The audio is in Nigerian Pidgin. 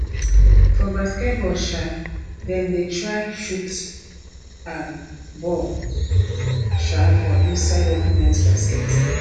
for basket ball um dem dey try shoot um ball um for inside opponent basket